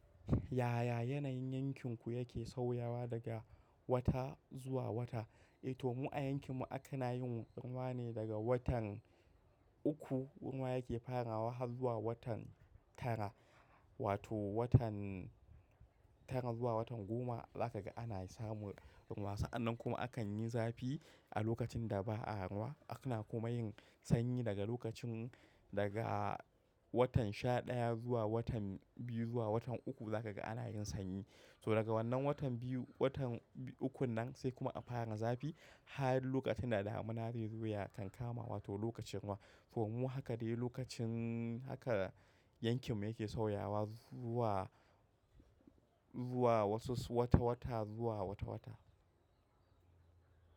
Yaya yanayin yankinku yake sauyawa daga wata zuwa wata? Eh to mu a yankin mu ana yin ruwa ne daga watan uku, ruwa yake farawa har zuwa watan tara wato watan tara zuwa watan goma zaka ga ana samu ruwa. Sa'annan kuma akan yi zafi a lokacin da ba'a ruwa. Ana kuma yin sanyi daga lokacin daga watan sha ɗaya zuwa watan biyu zuwa watan uku zaka ga ana yin sanyi. To daga wannan watan biyu, watan ukun nan sai kuma a fara zafi har lokacin da damuna zai zo ya kankama wato lokacin ruwa. To mu haka dai lokacin haka yankin mu yake sauyawa zuwa, zuwa wasu wata-wata zuwa wata-wata.